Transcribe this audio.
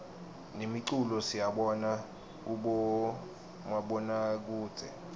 nemiculo siyibona kubomabonakudze